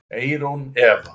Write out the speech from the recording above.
Eyrún Eva.